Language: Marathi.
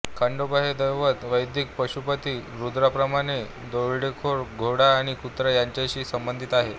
खंडोबा हे दैवत वैदिक पशुपती रुद्राप्रमाणे दरोडेखोर घोडा आणि कुत्रा यांच्याशी संबंधित आहे